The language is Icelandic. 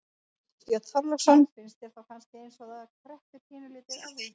Björn Þorláksson: Finnst þér þá kannski eins og að það kreppi pínulítið að því?